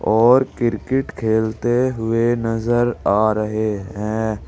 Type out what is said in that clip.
और क्रिकेट खेलते हुए नजर आ रहे हैं।